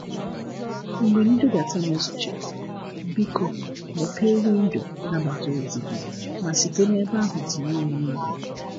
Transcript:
Mgbe nbudata mezuchara, biko mepee windo nnabata ozi gị ma site n’ebe ahụ tinye ya n'igwe.